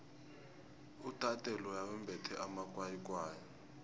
udade loya wembethe amakwayikwayi